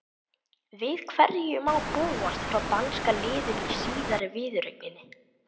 Við hverju má búast frá danska liðinu í síðari viðureigninni?